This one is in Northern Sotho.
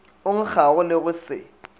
o nkgago le go se